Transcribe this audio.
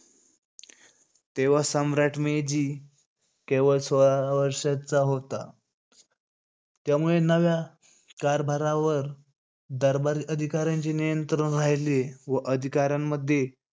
तेव्हा सम्राट मेजी केवळ सोळा वर्षाचा होता. त्यामुळे नव्या कारभारावर दरबारी अधिकाऱ्यांचे नियंत्रण राहिले व अधिकाऱ्यांमध्ये,